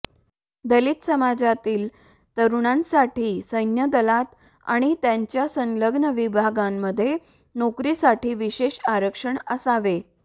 दलित समाजातील तरूणांसाठी सैन्य दलात आणि त्याच्या संलग्न विभागांमध्ये नोकरीसाठी विशेष आरक्षण असावे